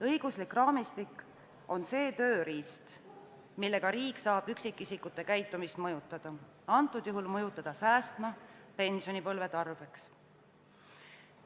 Õiguslik raamistik on see tööriist, millega riik saab üksikisikute käitumist mõjutada – antud juhul mõjutada säästma pensionipõlve tarbeks.